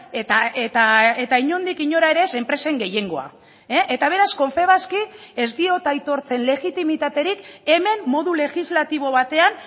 eta inondik inora ere enpresen gehiengoa eta beraz confebaski ez diot aitortzen legitimitaterik hemen modu legislatibo batean